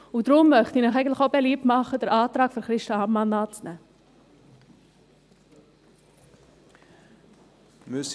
Deshalb möchte ich Ihnen auch beliebt machen, den Antrag von Christa Amman anzunehmen.